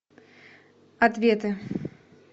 ответы